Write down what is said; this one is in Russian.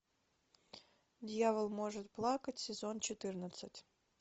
дьявол может плакать сезон четырнадцать